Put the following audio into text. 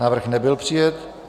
Návrh nebyl přijat.